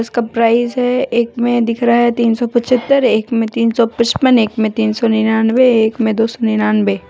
इसका प्राइज है एक में दिख रहा है तीन सौ पीछत्तर एक में तीन सौ पचपन एक में तीन सो नीनानवे एक में दो सौ नीनानवे--